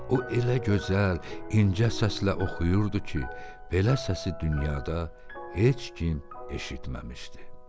O elə gözəl, incə səslə oxuyurdu ki, belə səsi dünyada heç kim eşitməmişdi.